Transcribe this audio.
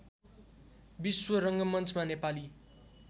विश्व रङ्गमञ्चमा नेपाली